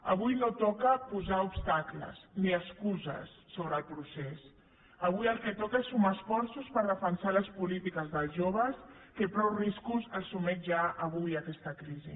avui no toca posar obstacles ni excuses sobre el procés avui el que toca és sumar esforços per defensar les polítiques dels joves que a prou riscos els sotmet ja avui aquesta crisi